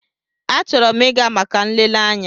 Achọrọ m ịga maka nlele anya.